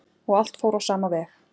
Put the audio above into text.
Og allt fór á sama veg.